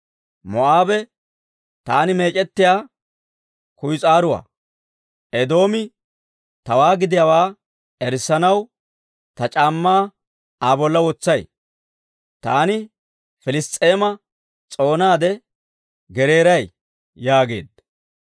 Moo'aabe taani meec'ettiyaa kuyis'aaruwaa; Eedoomi tawaa gidiyaawaa erissanaw ta c'aammaa Aa bolla wotsay. Taani Piliss's'eema s'oonaade gereeray» yaageedda.